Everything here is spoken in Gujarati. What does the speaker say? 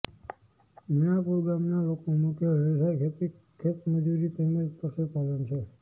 મીણાપુર ગામના લોકોનો મુખ્ય વ્યવસાય ખેતી ખેતમજૂરી તેમ જ પશુપાલન છે